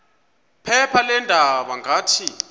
phepha leendaba ngathi